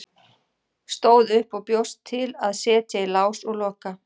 Stóð upp og bjóst til að setja í lás og loka.